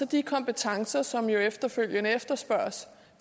de kompetencer som efterfølgende efterspørges